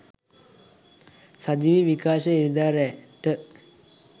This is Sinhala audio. සජීවී විකාශය ඉරිදා රෑ .ට